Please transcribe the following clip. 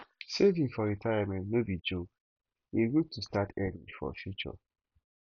saving for retirement no be joke e good to start early for future